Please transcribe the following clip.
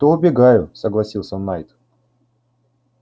то убегаю согласился найд